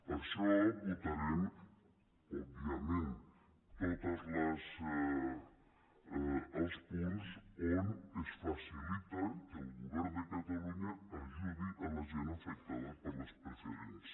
per això votarem òbviament tots els punts on es faci·lita que el govern de catalunya ajudi la gent afectada per les preferents